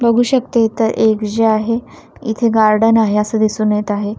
बघू शकते इतर एक जे आहे इथे गार्डन आहे असं दिसून येत आहे.